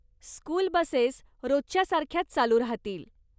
School buses रोजसारख्याच चालू राहतील.